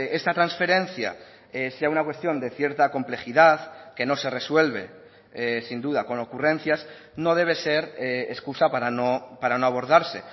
esta transferencia sea una cuestión de cierta complejidad que no se resuelve sin duda con ocurrencias no debe ser excusa para no abordarse